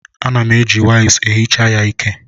Ana m eji waịps ehicha ya ike.